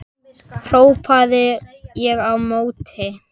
hrópaði ég á móti.